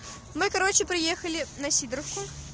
мы короче приехали на сидоровку